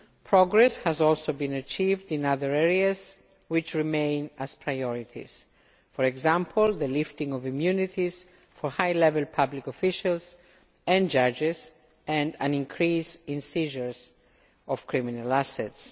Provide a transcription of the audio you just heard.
Progress has also been achieved in other areas which remain priorities, for example the lifting of immunities for high level public officials and judges, and an increase in seizures of criminal assets.